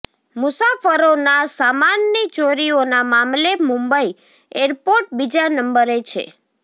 મુસાફરોના સામાનની ચોરીઓના મામલે મુંબઈ એરપોર્ટ બીજા નંબરે છે